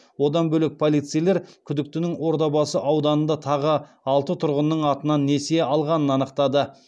одан бөлек полицейлер күдіктінің ордабасы ауданында тағы алты тұрғынның атынан несие алғанын анықтады